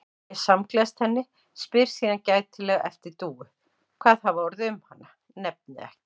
Ég samgleðst henni, spyr síðan gætilega eftir Dúu, hvað hafi orðið um hana, nefni ekki